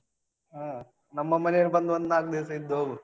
ಹಾ ನಮ್ಮ ಮನೆಗೆ ಬಂದು ಒಂದು ನಾಕು ದಿವಸ ಇದ್ದು ಹೋಗು.